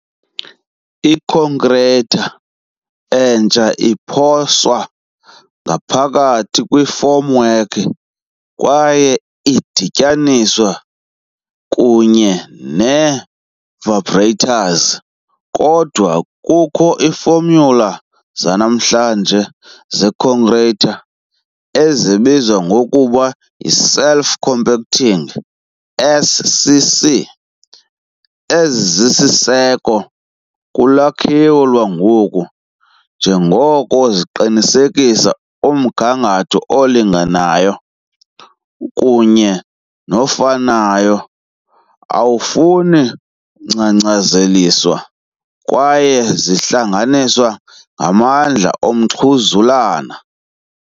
Ikhonkrithi entsha iphonswa ngaphakathi kwifomwork kwaye idityaniswe kunye ne -vibrators, kodwa kukho iifomyula zanamhlanje zekhonkrithi ezibizwa ngokuba yi "self-compacting", SCC, ezisisiseko kulwakhiwo lwangoku njengoko ziqinisekisa umgangatho olinganayo kunye nofanayo, awufuni ukungcangcazela. kwaye zihlanganiswe ngamandla omxhuzulane.